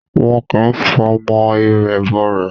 Wọn kì ń fọmọ irẹ̀ bọ rẹ̀